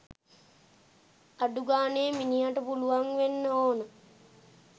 අඩුගානේ මිනිහට පුළුවන් වෙන්න ඕන